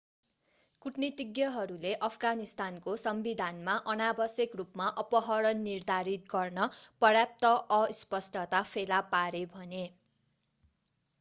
कूटनीतिज्ञहरूले अफगानिस्तानको संविधानमा अनावश्यक रूपमा अपहरण निर्धारित गर्न पर्याप्त अस्पष्टता फेला पारे भने